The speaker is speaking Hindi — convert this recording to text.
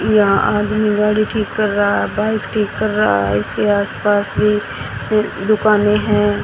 यह आदमी गाड़ी ठीक कर रहा है बाइक ठीक कर रहा है इसके आसपास भी अं दुकानें हैं।